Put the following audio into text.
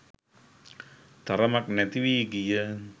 තරමක් නැති වී ගිය